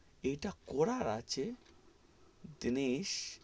ইটা করা আছে দিনিস.